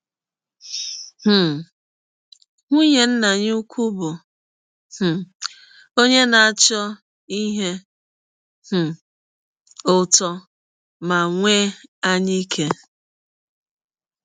um Nwụnye nna ya ụkwụ bụ um ọnye na - achọ ihe um ụtọ ma nwee anyaike.